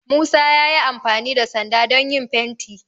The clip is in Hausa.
Musa ya yi amfani da sanda don yin fenti